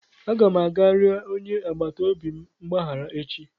Aga m aga rịọ onye agbata obi m mgbaghara echi